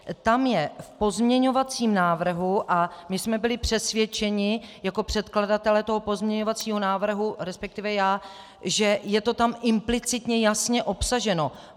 Tam je v pozměňovacím návrhu, a my jsme byli přesvědčeni jako předkladatelé toho pozměňovacího návrhu, respektive já, že je to tam implicitně jasně obsaženo.